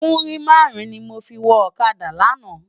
Múrí márùn ni mó fi wò òkádá làná